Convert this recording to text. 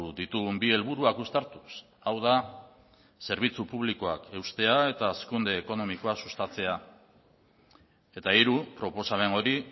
ditugun bi helburuak uztartuz hau da zerbitzu publikoak eustea eta hazkunde ekonomikoa sustatzea eta hiru proposamen hori